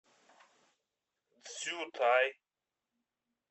цзютай